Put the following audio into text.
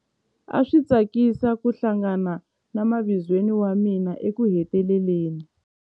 A swi tsakisa ku hlangana na mavizweni wa mina ekuheteleleni.